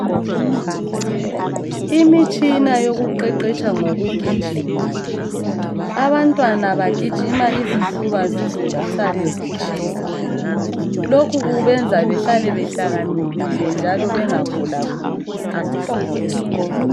Imitshina yokuqeqetsha ngokugijima. Abantwana bagijima izifuba zize sisale zitshisa. Lokhu kubenza behlale behlakaniphile njalo bengaguliguli isikhathi sonke.